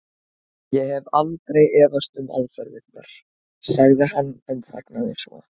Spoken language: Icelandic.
Ég hef aldrei efast um aðferðirnar. sagði hann en þagnaði svo.